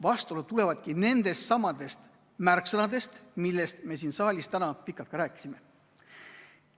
Vastuolud tulevadki nendestsamadest märksõnadest, millest me siin saalis täna pikalt rääkisime.